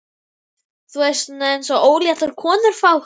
Þú veist, svona eins og óléttar konur fá.